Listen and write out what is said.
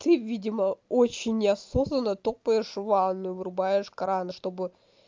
ты видимо очень осознанно топаешь ванную врубаешь кран чтобы